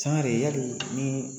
Sangare e hakili nin